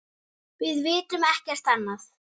Við vitum ekkert annað.